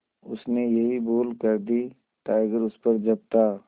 उसने यही भूल कर दी टाइगर उस पर झपटा